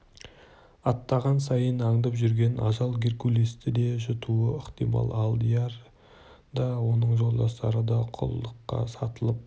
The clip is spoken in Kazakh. аттаған сайын аңдып жүрген ажал геркулесті де жұтуы ықтимал алдияр да оның жолдастары да құлдыққа сатылып